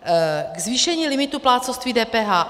K zvýšení limitu plátcovství DPH.